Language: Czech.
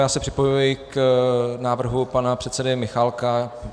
Já se připojuji k návrhu pana předsedy Michálka.